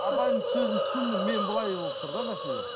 апайымыз сөзін түсіндім мен былай болып тұр да мәселе